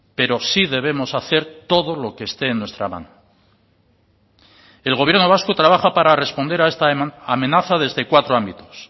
pero sí debemos hacer todo lo que esté en nuestra mano el gobierno vasco trabaja para responder a esta amenaza desde cuatro ámbitos